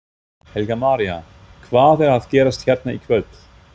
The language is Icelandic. Helga María: Hvað er að gerast hérna í kvöld?